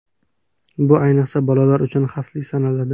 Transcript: Bu, ayniqsa, bolalar uchun xavfli sanaladi.